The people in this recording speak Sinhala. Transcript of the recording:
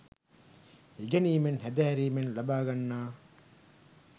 ඉගෙනීමෙන්, හැදෑරීමෙන් ලබා ගන්නා